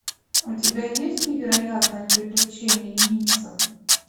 у тебя есть невероятные приключения нильса